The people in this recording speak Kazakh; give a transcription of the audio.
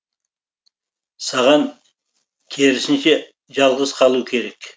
саған керісінше жалғыз қалу керек